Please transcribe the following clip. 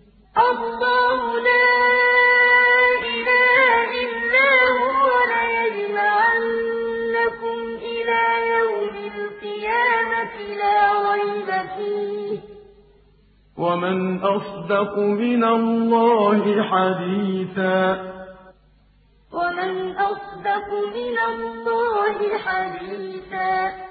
وَمَنْ أَصْدَقُ مِنَ اللَّهِ حَدِيثًا اللَّهُ لَا إِلَٰهَ إِلَّا هُوَ ۚ لَيَجْمَعَنَّكُمْ إِلَىٰ يَوْمِ الْقِيَامَةِ لَا رَيْبَ فِيهِ ۗ وَمَنْ أَصْدَقُ مِنَ اللَّهِ حَدِيثًا